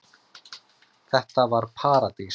Þetta var paradís.